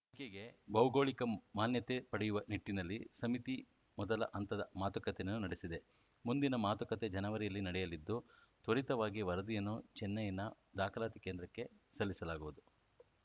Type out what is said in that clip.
ಅಡಕೆಗೆ ಭೌಗೋಳಿಕ ಮಾನ್ಯತೆ ಪಡೆಯುವ ನಿಟ್ಟಿನಲ್ಲಿ ಸಮಿತಿ ಮೊದಲ ಹಂತದ ಮಾತುಕತೆಯನ್ನು ನಡೆಸಿದೆ ಮುಂದಿನ ಮಾತುಕತೆ ಜನವರಿಯಲ್ಲಿ ನಡೆಯಲಿದ್ದು ತ್ವರಿತವಾಗಿ ವರದಿಯನ್ನು ಚೆನ್ನೈನ ದಾಖಲಾತಿ ಕೇಂದ್ರಕ್ಕೆ ಸಲ್ಲಿಸಲಾಗುವುದು